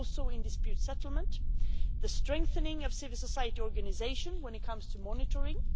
in dispute settlement the strengthening of civil society organisations when it comes to monitoring